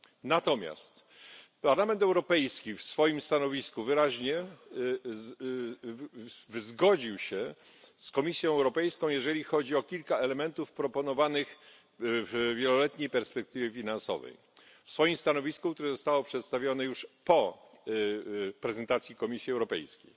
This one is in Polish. Natomiast Parlament Europejski wyraźnie zgodził się z Komisją Europejską, jeżeli chodzi o kilka elementów proponowanych w wieloletniej perspektywie finansowej, w swoim stanowisku, które zostało przedstawione już po prezentacji Komisji Europejskiej.